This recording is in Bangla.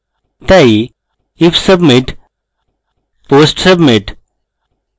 তাই if submit post submit